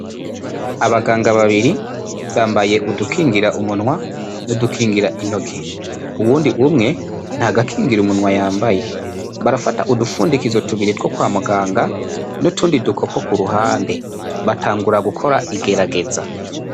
Abaganga babiri bambaye udukingira umunwa n'udukingira intoke, uwundi umwe nta gakingira umunwa yambaye, barafata udufundikizo tubiri two kwa muganga n'utundi dukopo ku ruhande batangura gukora igerageza.